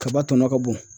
Kaba tɔnɔ ka bon